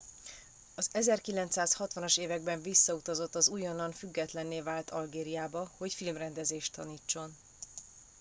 az 1960 as években visszautazott az újonnan függetlenné vált algériába hogy filmrendezést tanítson